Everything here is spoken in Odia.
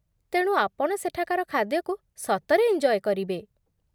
ତେଣୁ ଆପଣ ସେଠାକାର ଖାଦ୍ୟକୁ ସତରେ ଏଞ୍ଜୟ କରିବେ ।